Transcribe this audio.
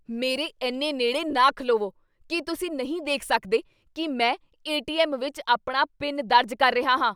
ਮੇਰੇ ਇੰਨੇ ਨੇੜੇ ਨਾ ਖਲੋਵੋ! ਕੀ ਤੁਸੀਂ ਨਹੀਂ ਦੇਖ ਸਕਦੇ ਕੀ ਮੈਂ ਏ. ਟੀ. ਐੱਮ. ਵਿੱਚ ਆਪਣਾ ਪਿਨ ਦਰਜ ਕਰ ਰਿਹਾ ਹਾਂ?